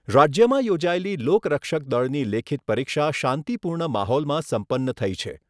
રાજ્યમાં યોજાયેલી લોક રક્ષક દળની લેખિત પરીક્ષા શાંતિપૂર્ણ માહોલમાં સંપન્ન થઈ છે.